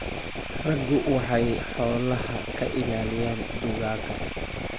Raggu waxay xoolaha ka ilaaliyaan dugaagga.